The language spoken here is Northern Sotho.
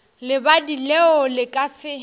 lebadi leo le ka se